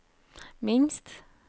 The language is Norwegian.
minst